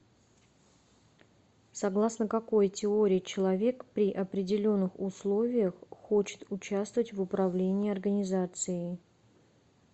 согласно какой теории человек при определенных условиях хочет участвовать в управлении организацией